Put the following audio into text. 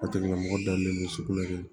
O tigila mɔgɔ dalen don sugunɛ kɛ